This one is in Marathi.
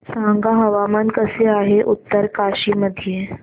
सांगा हवामान कसे आहे उत्तरकाशी मध्ये